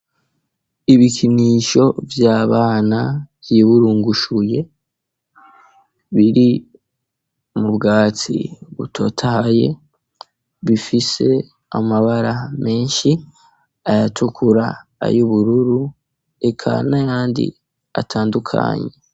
Ibikinisho vyabana vyiburungushuye biri mu bwatsi butotaye bifise amabara menshi ayatukura ayo ubururu ekana yandi atandukanye.